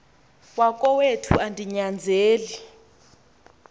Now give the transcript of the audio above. wakowethu andi nyanzeli